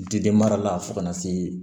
Diden mara la fo ka na se